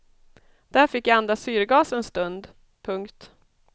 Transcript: Där fick jag andas syrgas en stund. punkt